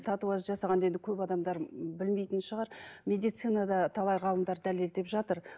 татуаж жасағанда енді көп адамдар білмейтін шығар медицинада талай ғалымдар дәлелдеп жатыр